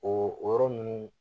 O yɔrɔ ninnu